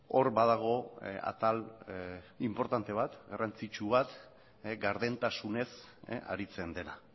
hor badago atal inportante bat garrantzitsu bat gardentasunez aritzen dena